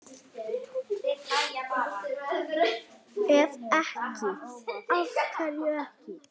Ef ekki, AF HVERJU EKKI?